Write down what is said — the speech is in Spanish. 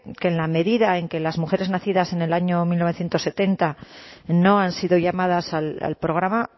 que en la medida en que las mujeres nacidas en el año mil novecientos setenta no han sido llamadas al programa